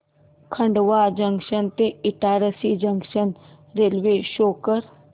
Khandwa junction ते Itarsi junction railway शो कर